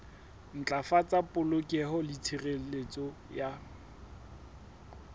ntlafatsa polokeho le tshireletso ya